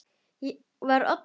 Þá var Oddný sjötug.